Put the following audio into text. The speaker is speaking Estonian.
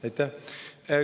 Aitäh!